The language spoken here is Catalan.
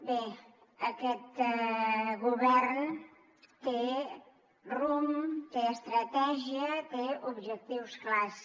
bé aquest govern té rumb té estratègia té objectius clars